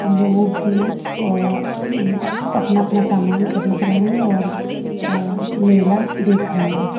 लोग अह उम्म अपना अपना सामान खरीद रहे हैं और अह मेला देख रहे हैं।